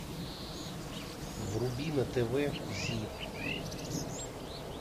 вруби на тв зи